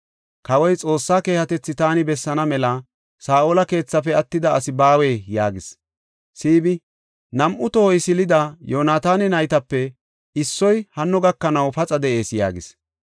Kawoy, “Xoossa keehatethi taani bessaana mela Saa7ola keethafe attida asi baawee?” yaagis. Siibi, “Nam7u tohoy silida Yoonataana naytape issoy hanno gakanaw paxa de7ees” yaagis.